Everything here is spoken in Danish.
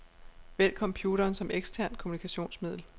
Vælg computeren som eksternt kommunikationsmiddel.